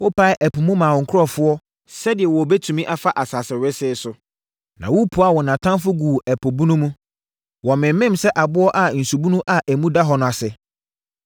Wopaee ɛpo mu maa wo nkurɔfoɔ, sɛdeɛ wɔbɛtumi afa asase wesee so. Na wopuaa wɔn atamfoɔ guu ɛpo bunu mu. Wɔmemem sɛ aboɔ wɔ nsubunu a emu dɔ no ase.